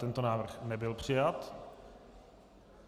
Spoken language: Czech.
Tento návrh nebyl přijat.